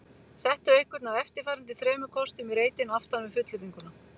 Settu einhvern af eftirfarandi þremur kostum í reitinn aftan við fullyrðinguna